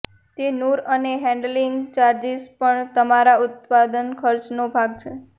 તે નૂર અને હેન્ડલિંગ ચાર્જીસ પણ તમારા ઉત્પાદન ખર્ચનો ભાગ છે